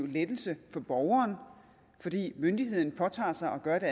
lettelse for borgeren fordi myndigheden påtager sig gøre det